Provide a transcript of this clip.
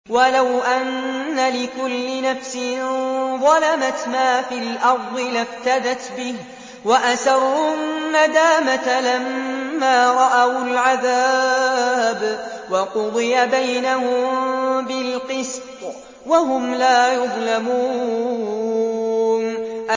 وَلَوْ أَنَّ لِكُلِّ نَفْسٍ ظَلَمَتْ مَا فِي الْأَرْضِ لَافْتَدَتْ بِهِ ۗ وَأَسَرُّوا النَّدَامَةَ لَمَّا رَأَوُا الْعَذَابَ ۖ وَقُضِيَ بَيْنَهُم بِالْقِسْطِ ۚ وَهُمْ لَا يُظْلَمُونَ